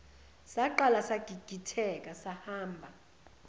saqala sagigitheka sahamba